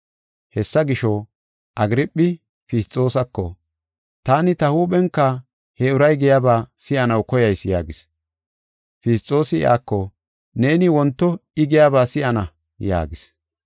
Hessa gisho, Agirphi Fisxoosako, “Taani ta huuphenka he uray giyaba si7anaw koyayis” yaagis. Fisxoosi iyako, “Neeni wonto I giyaba si7ana” yaagis.